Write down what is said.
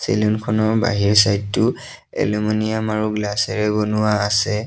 চেলুনখনৰ বাহিৰ ছাইড টো এলুমিনিয়াম আৰু গ্লাচ এৰে বনোৱা আছে।